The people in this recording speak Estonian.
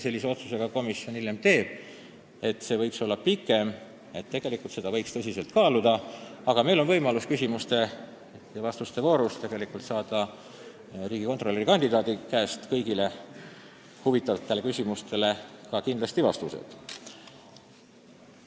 Sellise otsuse ka komisjon hiljem teeb, et sõnavõtuaeg võiks olla pikem, aga täna on meil küsimuste ja vastuste voorus kindlasti võimalus saada riigikontrolöri kandidaadi käest kõigile huvitavatele küsimustele vastuseid.